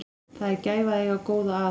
Það er gæfa að eiga góða að.